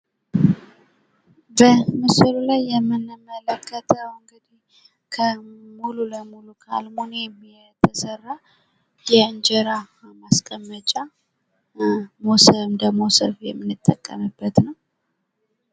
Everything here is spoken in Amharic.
በምስሉ ላይ የምንመለከተው እንግዲህ ሙሉ ለሙሉ ከአልሙኒየም የተሰራ የእንጀራ ማስቀመጫ እንደ መሶብ የምንጠቀምበት ነው።